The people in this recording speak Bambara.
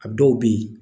A dɔw bɛ yen